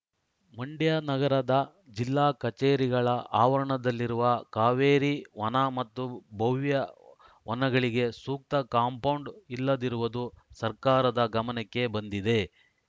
ಮಂಡ್ಯ ನಗರದ ಜಿಲ್ಲಾ ಕಚೇರಿಗಳ ಅವರಣದಲ್ಲಿರುವ ಕಾವೇರಿ ವನ ಮತ್ತು ಭವ್ಯ ವನಗಳಿಗೆ ಸೂಕ್ತ ಕಾಂಪೌಂಡ್‌ ಇಲ್ಲದಿರುವುದು ಸರ್ಕಾರದ ಗಮನಕ್ಕೆ ಬಂದಿದೆ